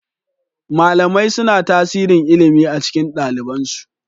Malamai suna tasirin ilimi a cikin ɗaliban su